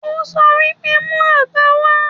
Ó wípé: Mú Áńgà wá!